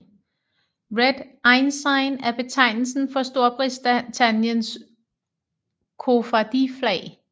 Red Ensign er betegnelsen for Storbritanniens koffardiflag